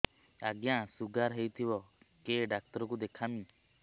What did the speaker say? ଆଜ୍ଞା ଶୁଗାର ହେଇଥିବ କେ ଡାକ୍ତର କୁ ଦେଖାମି